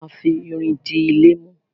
A má fi irin di ilé mú.